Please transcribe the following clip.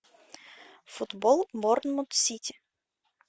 футбол борнмут сити